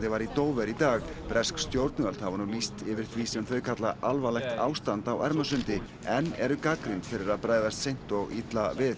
var í Dover í dag bresk stjórnvöld hafa nú lýst yfir því sem þau kalla alvarlegt ástand á Ermarsundi en eru gagnrýnd fyrir að bregðast seint og illa við